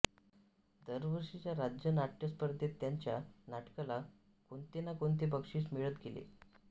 दरवर्षीच्या राज्य नाट्यस्पर्धेत त्यांच्या नाटकाला कोणते ना कोणते बक्षीस मिळत गेले